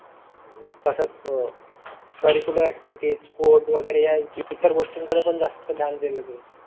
तसाच आह curricular activities sport वगैरे या इतर गोष्टींकडे पण जास्त ध्यान दिलं जाईल.